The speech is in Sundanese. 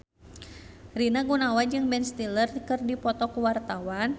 Rina Gunawan jeung Ben Stiller keur dipoto ku wartawan